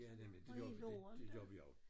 Ja nemlig det gjorde det det gjorde vi også